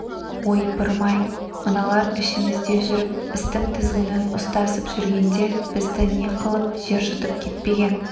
ойпырым-ай мыналар ішімізде жүріп істің тізгінін ұстасып жүргенде бізді не қылып жер жұтып кетпеген